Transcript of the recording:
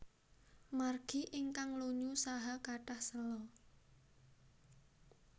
Margi ingkang lunyu saha kathah séla